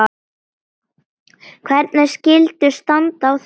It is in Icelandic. Hvernig skyldi standa á þessu?